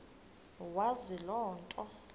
wazi loo nto